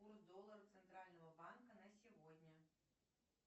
курс доллара центрального банка на сегодня